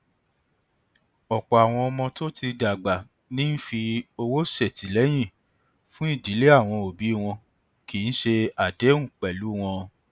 ọpọ àwọn ọmọ tó ti dàgbà ní ń fi owó ṣètìlẹyìn fún ìdílé àwọn òbí wọn kì í ṣe àdéhùn pẹlú wọn